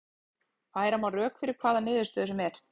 Færa má rök fyrir hvaða niðurstöðu sem er.